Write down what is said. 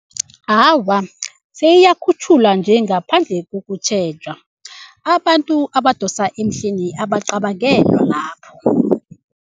Awa, seyiyakhutjhulwa nje ngaphandle kokutjhejwa abantu abadosa emhlweni abacabangelwa lapho.